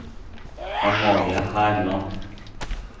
Amalie Herland